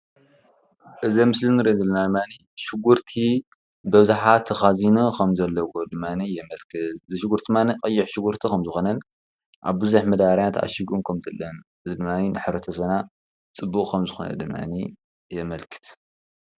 እዚ ምስሊ ድማኒ ሽጉርቲ በብዝሓ ተኻዚኑ ከምዘለዎ ድማኒ የመልክት፡፡ እዚ ሽጉርቲ ቀይሕ ከምዝኾነን ኣብ ብዙሕ መዳበርያ ተዓሺጉን ከምዘሎን ንሕብረተሰብና ፅቡቕ ከምዝኾነ ድማኒ የመልክት፡፡